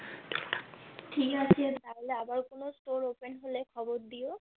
ঠিক আছে তাহলে আবার কোনো Store Open হলে খবর দিও